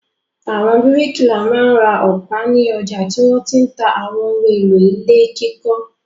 Àwọn bíríkìlà máa ń ra ọ̀pá ní ọjà tí wọ́n ti ń ta àwọn ohun-èlò ilé kíkọ́.